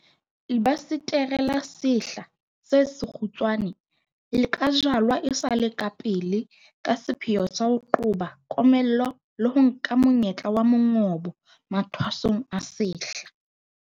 Lebasetere la sehla se sekgutshwane le ka jalwa e sa le pele ka sepheo sa ho qoba komello le ho nka monyetla wa mongobo mathwasong a sehla.